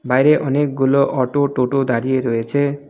বাইরে অনেকগুলো অটো টোটো দাঁড়িয়ে রয়েছে.